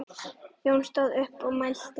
Jón stóð upp og mælti